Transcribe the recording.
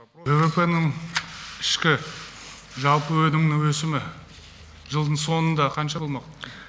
ввп ның ішкі жалпы өнімнің өсімі жылдың соңында қанша болмақ